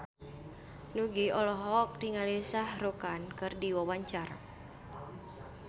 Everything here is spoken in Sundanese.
Nugie olohok ningali Shah Rukh Khan keur diwawancara